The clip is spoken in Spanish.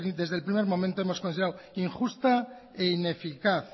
desde el primer momento hemos considerado injusta e ineficaz